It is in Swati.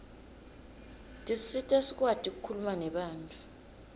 tisisita sikwati kukhuluma nebantfu